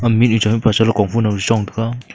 mihnu cha mihpa cha komfu nao chong taga.